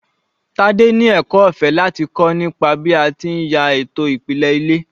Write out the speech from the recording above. Tade ni ẹ̀kọ́ ọ̀fẹ́ láti kọ́ nípa bí a ti ń ya ètò ìpìlẹ̀ ilé.